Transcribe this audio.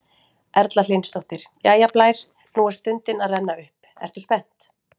Erla Hlynsdóttir: Jæja Blær, nú er stundin að renna upp, ertu spennt?